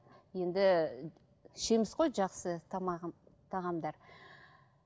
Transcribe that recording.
енді ішеміз ғой жақсы тамағын тағамдар